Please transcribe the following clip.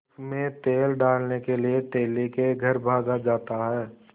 उनमें तेल डालने के लिए तेली के घर भागा जाता है